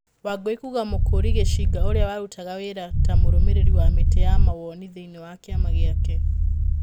Wangui kuuga Mũkũri Gĩcinga ũrĩa warutaga wĩra ta mũrũmĩrĩri wa mĩtĩ ya mawoni thĩiniĩ wa kĩama gĩake.